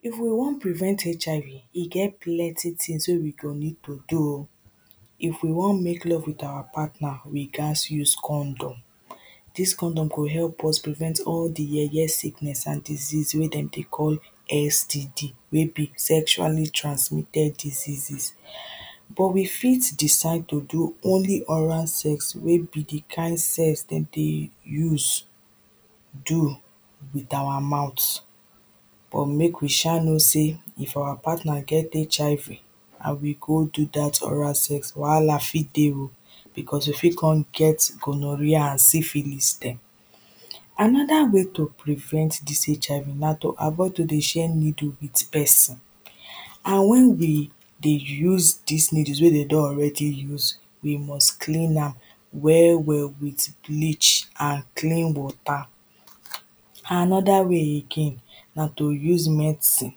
If we wan prevent HIV e plenty things wey we go need to do oh If we wan make love with our partner, we gat use condom Dis condom go help us prevent us against all di yeye yeye sickness and disease wey dem dey call STD, wey be sexual transmitted diseases But we decide to do only oral sex, wey be di kind sex dem dey use do with our mouth. But make we shall know sey, if our partner get HIV and we go do dat oral sex, wahala fit dey oh becos you fit come get gonorrhea and syphilis there Another wey to prvent dis HIV na to avoid to dey share needle with person and wen dey dey use dis needle wen dem do already use, we must clean am well well with bleach and clean water. Another way again na to use medicine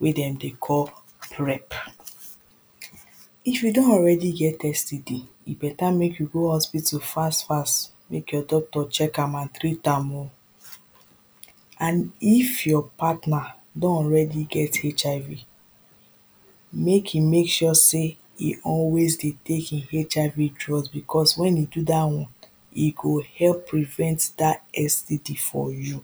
wey dem dey call krep If you don already get STD e better make you go hospital fast fast, make you docter check am oh and treat am oh And if you partner don already get HIV make e make sure e always dey take im HIV drups because wen e do dat one E go help prevent that STD for you